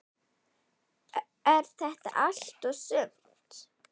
Er þetta allt og sumt?